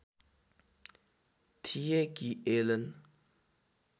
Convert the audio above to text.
थिए कि एलन